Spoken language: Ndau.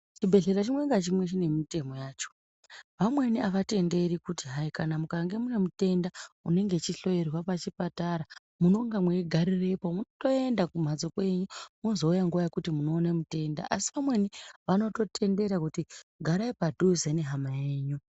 Chibhedhlera chimwe ngachimwe chine mitemo yacho. Vamweni avatenderi kuti hai kana mukange mune mutenda unenge echihloyerwa pachipatara munonga mweigarirepo, mwunotoenda kumhatso kwenyu. Mozouya nguva yekuti munoone mutenda, Asi pamweni vanototendera kuti garai padhuze nehama yenyu.